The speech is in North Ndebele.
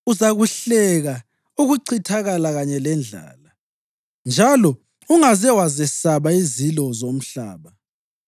Uzakuhleka ukuchithakala kanye lendlala, njalo ungaze wazesaba izilo zomhlaba.